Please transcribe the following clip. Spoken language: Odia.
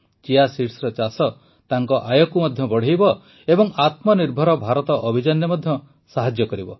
ଚିଆ ସିଡ୍ସ ର ଚାଷ ତାଙ୍କ ଆୟକୁ ମଧ୍ୟ ବଢ଼ାଇବ ଏବଂ ଆତ୍ମନିର୍ଭର ଭାରତ ଅଭିଯାନରେ ମଧ୍ୟ ସାହାଯ୍ୟ କରିବ